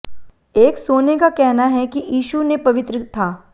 एक सोने का कहना है कि यीशु ने पवित्र था